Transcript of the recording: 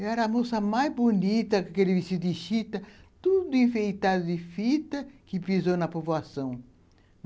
Eu era a moça mais bonita, com aquele vestido de chita, tudo enfeitado de fita, que pisou na povoação.